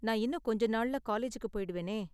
நான் இன்னும் கொஞ்சம் நாள்ல காலேஜுக்கு போய்டுவேனே.